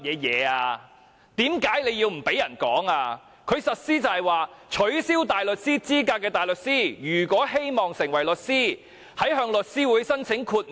有關規定是被取消大律師資格的大律師，如果希望成為律師，可向律師會提出申請，要求豁免。